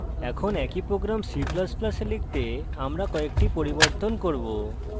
এখন একই program c ++ a লিখতে আমরা কয়েকটি পরিবর্তন করি